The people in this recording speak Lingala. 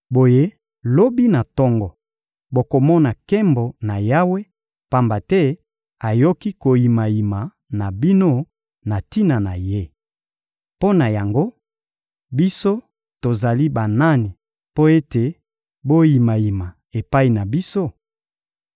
Boye lobi na tongo, bokomona nkembo na Yawe; pamba te ayoki koyimayima na bino na tina na Ye. Mpo na yango, biso tozali banani mpo ete boyimayima epai na biso?